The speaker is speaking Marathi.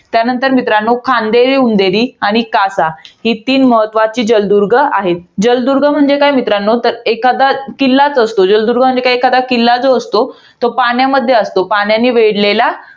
त्यानंतर मित्रांनो, खांदेरी उंदेरी आणि कासा. ही तीन महत्वाची जलदुर्ग आहेत. जलदुर्ग म्हणजे काय मित्रांनो? तर एखादा किल्लाच असतो. जलदुर्ग म्हणजे काय, एखादा किल्ला जो असतो, तो पाण्यामध्ये असतो. पाण्याने वेढलेला